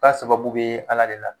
Ka sababu be ala de la.